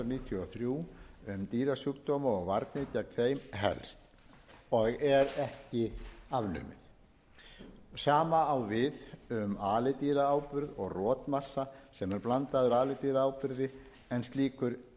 níutíu og þrjú um dýrasjúkdóma og varnir gegn þeim helst og er ekki afnumið sama á við um alidýraáburð og rotmassa sem er blandaður alidýraáburði en slíkur